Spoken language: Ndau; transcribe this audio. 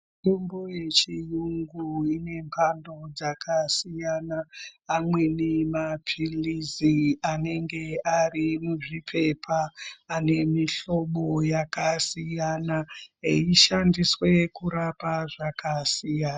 Mitombo yechiyungu inemhando dzakasiyana. Amweni maphiritsi anenge ari muzviphepha, ane mihlobo yakasiyana eishandiswe kurapa zvakasiyana.